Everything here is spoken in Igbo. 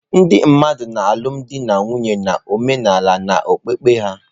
Ndị mmadụ na-alụbu di na nwunye na omenala na okpukpe ha.